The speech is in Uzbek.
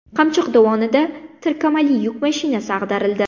Qamchiq dovonida tirkamali yuk mashinasi ag‘darildi.